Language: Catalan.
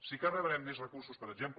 sí que rebrem més recursos per exemple